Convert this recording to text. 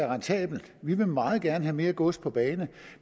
rentabelt vi vil meget gerne have mere gods på bane